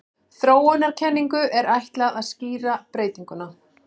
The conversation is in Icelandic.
Þróunarkenningu er ætlað að skýra breytinguna.